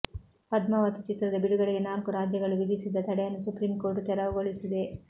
ಪದ್ಮಾವತ್ ಚಿತ್ರದ ಬಿಡುಗಡೆಗೆ ನಾಲ್ಕು ರಾಜ್ಯಗಳು ವಿಧಿಸಿದ್ದ ತಡೆಯನ್ನು ಸುಪ್ರೀಂಕೋರ್ಟ್ ತೆರವುಗೊಳಿಸಿದೆ